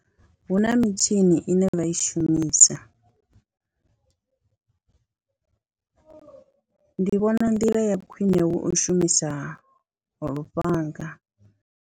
Hu na mitshini ine vha i shumisa, ndi vhona nḓila ya khwine hu u shumisa lufhanga.